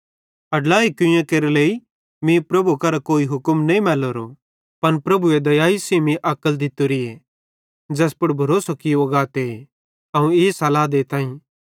कुवैरी केरे लेइ मीं प्रभु करां कोई हुक्म नईं मैल्लेरो पन प्रभुए दयाई सेइं मीं अक्ल दित्तोरीए ज़ैस पुड़ भरोसो कियो गाते ते अवं ई सलाह देताईं